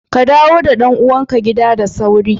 Ka dawo da ɗan'uwan kawo da sairu